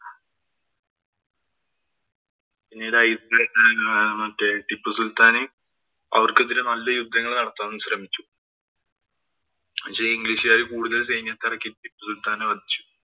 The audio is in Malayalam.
പിന്നീട് മറ്റേ ടിപ്പു സുല്‍ത്താന് അവര്‍ക്കെതിരെ നല്ല യുദ്ധങ്ങള്‍ നടത്താന്‍ ശ്രമിച്ചു പക്ഷേ, ഇംഗ്ലീഷുകാര് കൂടുതല്‍ സൈന്യത്തെ ഇറക്കി ടിപ്പു സുല്‍ത്താനെ വധിച്ചു.